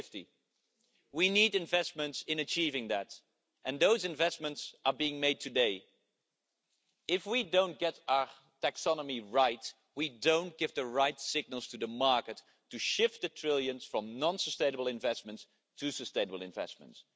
2050. We need investments in achieving that, and those investments are being made today. If we do not get our taxonomy right, we do not give the right signals to the market to shift the trillions from non sustainable investments to sustainable investments.